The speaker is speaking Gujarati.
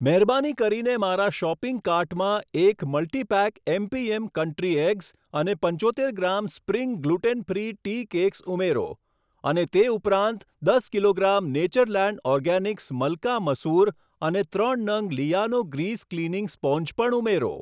મહેરબાની કરીને મારા શોપિંગ કાર્ટમાં એક મલ્ટીપેક એમપીએમ કન્ટ્રી એગ્સ અને પંચોતેર gram spring gluten free tea cakes ઉમેરો, અને તે ઉપરાંત દસ kilogram Natureland Organics Malka Masoor અને ત્રણ નંગ લીઆનો ગ્રીસ ક્લીનિંગ સ્પોંજ પણ ઉમેરો.